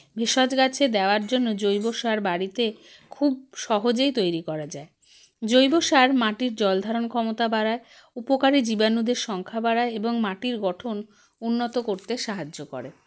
ভেষজ গাছে দেওয়ার জন্য জৈবসার বাড়িতে খুব সহজেই তৈরী করা যায় জৈবসার মাটির জলধারণ ক্ষমতা বাড়ায় উপকারী জীবানুদের সংখ্যা বাড়ায় এবং মাটির গঠন উন্নত করতে সাহায্য করে